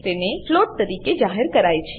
તેને ફ્લોટ તરીકે જાહેર કરાય છે